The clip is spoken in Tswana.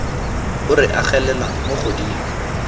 o re agelelang mo godimo